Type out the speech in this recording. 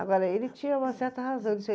Agora, ele tinha uma certa razão.